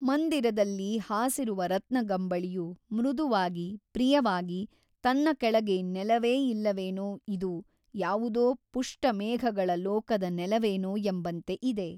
ಮಂದಿರದಲ್ಲಿ ಹಾಸಿರುವ ರತ್ನಗಂಬಳಿಯು ಮೃದುವಾಗಿ ಪ್ರಿಯವಾಗಿ ತನ್ನ ಕೆಳಗೆ ನೆಲವೇ ಇಲ್ಲವೇನೋ ಇದು ಯಾವುದೋ ಪುಷ್ಟಮೇಘಗಳ ಲೋಕದ ನೆಲವೇನೋ ಎಂಬಂತೆ ಇದೆ.